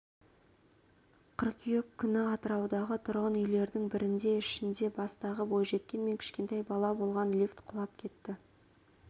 қыркүйек күні атыраудағы тұрғын үйлердің бірінде ішінде жастағы бойжеткен мен кішкентай бала болған лифт құлап кетті